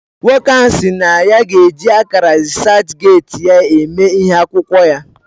Nwoko ahu SI na ya g'eji akara reaserchgate ya eme ihe akwukwo ya